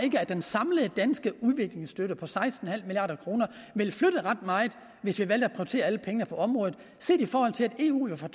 den samlede danske udviklingsstøtte på seksten milliard kroner ville flytte ret meget hvis vi valgte at prioritere alle pengene på området set i forhold til at eu jo for